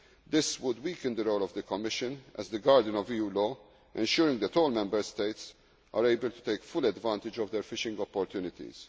measures. This would weaken the role of the Commission as the guardian of EU law ensuring that all Member States are able to take full advantage of their fishing opportunities.